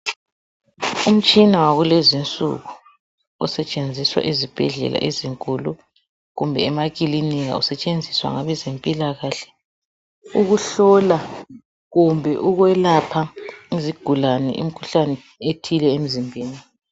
umtshina wakulezinsuku osetshenziswa ezibhedlela ezinkulu kumbe emakilinika usetshenziswa ngabezempilakahle ukuhlola kumbe ukwelapha iziguklane imikhuhlane ethile emzimbeni